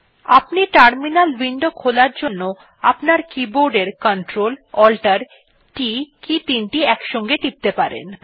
আপনি terminal window খোলার জন্য আপনার কীবোর্ডের ctrl alt t কী তিনটি একসাথে টিপতে পারেন